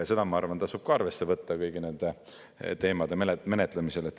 Seda, ma arvan, tasub ka arvesse võtta kõigi nende teemade menetlemisel.